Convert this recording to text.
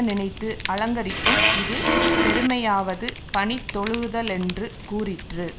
நினைத்து அலங்கரிக்கும் இது பெருமையாவது பணிந்தொழுகுதலென்று கூறிற்று